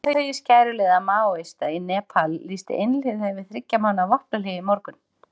Leiðtogi skæruliða Maóista í Nepal lýsti einhliða yfir þriggja mánaða vopnahléi í morgun.